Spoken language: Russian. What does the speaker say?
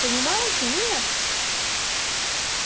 понимаете нет